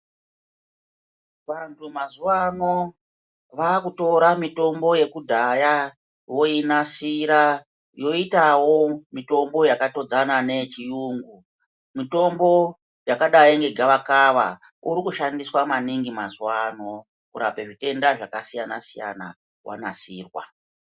Vantu mazuwaano vakutora mitombo yekudhaya voinasira yoitawo mitombo yakatodzana neyechiyungu. Mitombo yakadai negavakava urikushandiswa maningi mazuwaano kurapa zvitenda zvakasiyana-siyana wanasirwa.